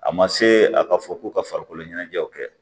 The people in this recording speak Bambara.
A ma se a ka fɔ ko ka farikolo ɲɛnajɛw kɛ